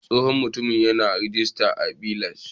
Tsohon Mutumin yana a " retirement village"